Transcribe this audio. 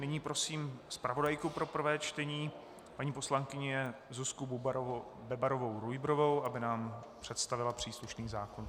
Nyní prosím zpravodajku pro prvé čtení paní poslankyni Zuzku Bebarovou Rujbrovou, aby nám představila příslušný zákon.